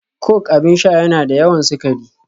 Coke abin sha yana da yawan sukari